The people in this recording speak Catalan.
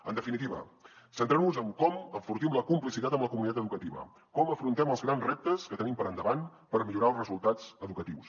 en definitiva centrem nos en com enfortim la complicitat amb la comunitat educativa com afrontem els grans reptes que tenim per endavant per millorar els resultats educatius